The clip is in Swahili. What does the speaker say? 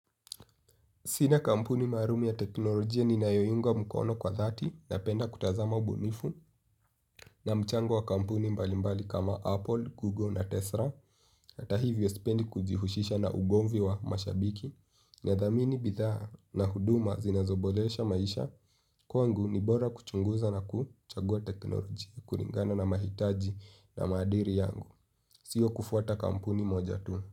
Sina kampuni maalum ya teknolojia ninayoiunga mkono kwa dhati napenda kutazama ubunifu na mchango wa kampuni mbalimbali kama Apple, Google na Tesla. Hata hivyo sipendi kujihusisha na ugomvi wa mashabiki nadhamini bidhaa na huduma zinazoboresha maisha. Kwangu ni bora kuchunguza na kuchagua teknolojia, kulingana na mahitaji na maadili yangu, sio kufuata kampuni moja tu.